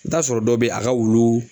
I bɛ t'a sɔrɔ dɔw bɛ ye a ka wulu